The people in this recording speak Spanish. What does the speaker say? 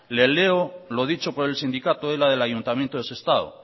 le leo lo dicho por el sindicato ela del ayuntamiento de sestao